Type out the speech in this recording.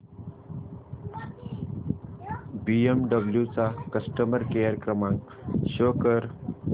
BMW चा customer care क्रमांक show कर